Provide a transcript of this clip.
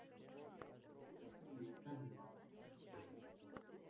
привет как дела